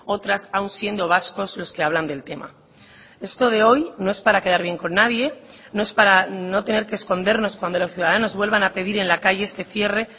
otras aun siendo vascos los que hablan del tema esto de hoy no es para quedar bien con nadie no es para no tener que escondernos cuando los ciudadanos vuelvan a pedir en la calle este cierre